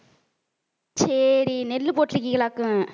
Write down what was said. சரி நெல்லு போட்டு இருக்கீங்களாக்கும்